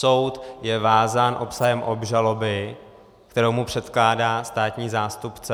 Soud je vázán obsahem obžaloby, kterou mu předkládá státní zástupce.